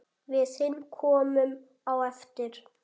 Við hin komum á eftir.